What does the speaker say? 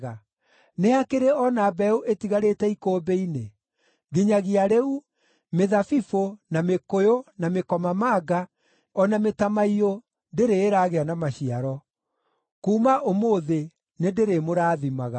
Nĩ hakĩrĩ o na mbeũ ĩtigarĩte ikũmbĩ-inĩ? Nginyagia rĩu, mĩthabibũ, na mĩkũyũ, na mĩkomamanga, o na mĩtamaiyũ ndĩrĩ ĩragĩa na maciaro. “ ‘Kuuma ũmũthĩ nĩndĩrĩmũrathimaga.’ ”